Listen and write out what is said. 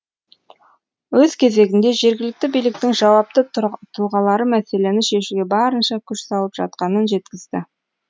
өз кезегінде жергілікті биліктің жауапты тұлғалары мәселені шешуге барынша күш салып жатқанын жеткізді